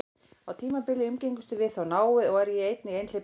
Á tímabili umgengumst við þó náið, og er ég einnig einhleypur einstæðingur.